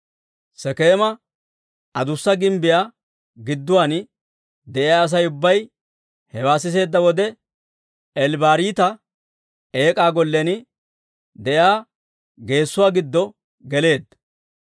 Sekeema Adussa Gimbbiyaa gidduwaan de'iyaa Asay ubbay hewaa siseedda wode, Eel-Bariita eek'aa gollen de'iyaa geesuwaa giddo geleedda.